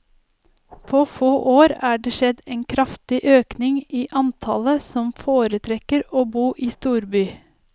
På få år er det skjedd en kraftig økning i antallet som foretrekker å bo i storby.